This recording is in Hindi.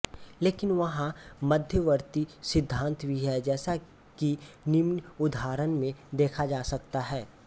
लेकिन वहां मध्यवर्ती सिद्धांत भी हैं जैसा कि निम्न उदाहरण में देखा जा सकता है